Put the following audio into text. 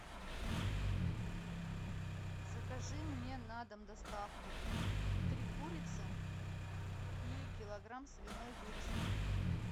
закажи мне на дом доставку три курицы и килограмм свиной вырезки